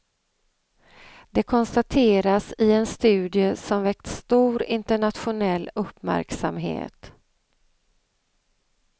Det konstateras i en studie som väckt stor internationell uppmärksamhet.